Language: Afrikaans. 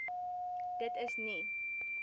dit is nie